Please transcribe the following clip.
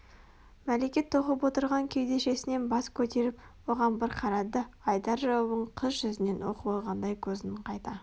мәлике тоқып отырған кеудешесінен бас көтеріп оған бір қарады да айтар жауабын қыз жүзінен оқып алғандай көзін қайта